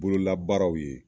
Bololabaaraw ye